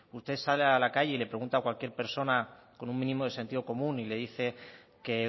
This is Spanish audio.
usted sale a la calle y le pregunta cualquier persona con un mínimo de sentido común y le dice que